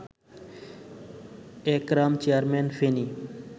Ekram chairman Feni